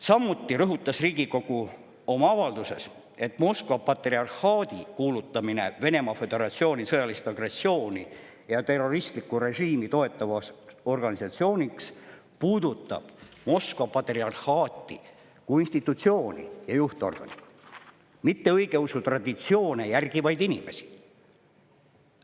" Samuti rõhutas Riigikogu oma avalduses, et Moskva patriarhaadi kuulutamine Venemaa Föderatsiooni sõjalist agressiooni ja terroristlikku režiimi toetavaks organisatsiooniks puudutab Moskva patriarhaati kui institutsiooni ja juhtorganit, mitte õigeusu traditsioone järgivaid inimesi.